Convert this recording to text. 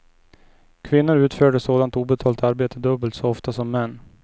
Kvinnor utförde sådant obetalt arbete dubbelt så ofta som män.